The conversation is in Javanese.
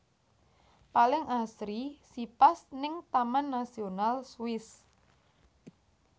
Paling asri si pas ning Taman Nasional Swiss